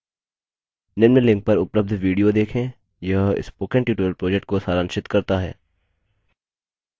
निम्न link पर उपलब्ध video देखें यह spoken tutorial project को सारांशित करता है